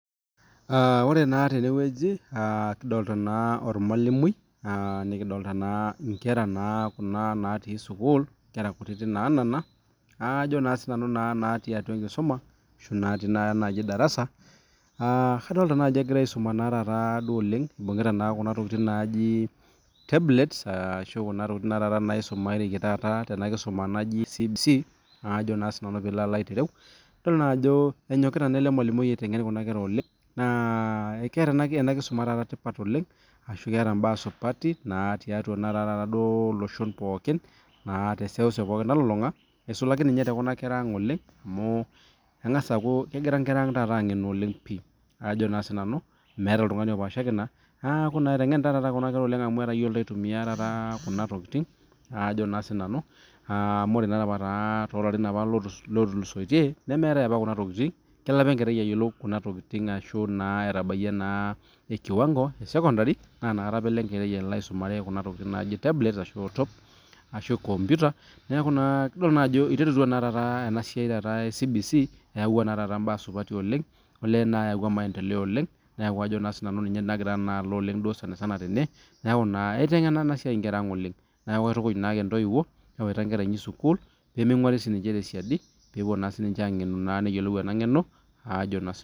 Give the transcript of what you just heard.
Ore tene nelio irmwalimui onkera kutiti naanana natii darasa. Kadol ajo egirai aisuma neibugita tablets ashu kuna mashini naisumareki tene kisuma e CBC. Enyokita naa ele mwalimui aisum. Eeta ena kisuma tipat oleng te seuseu nalulunga eisulaki te kuna kera ang pii. Etayiolito aitumia kuna tokitin. Ore apa too larin ootulusoitie naa kelo apa enkera aisumea kuna tokitin eshomo sekondari. Eiterutua taata ena sia e CBC ayau maendeleo Oleng niaku ninye nagira alo dukuya